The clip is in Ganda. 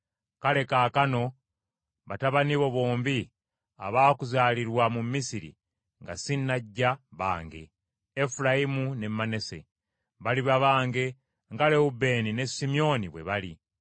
“Kale kaakano batabani bo bombi abaakuzaalirwa mu Misiri nga sinnajja, bange; Efulayimu ne Manase baliba bange nga Lewubeeni ne Simyoni bwe bali.